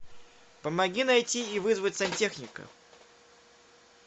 помоги найти и вызвать сантехника